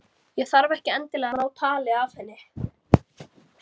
Ég þarf ekki endilega að ná tali af henni.